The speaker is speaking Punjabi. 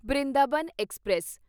ਬ੍ਰਿੰਦਾਵਨ ਐਕਸਪ੍ਰੈਸ